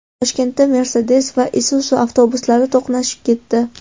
Toshkentda Mercedes va Isuzu avtobuslari to‘qnashib ketdi.